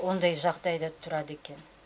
ондай жағдайда тұрады екен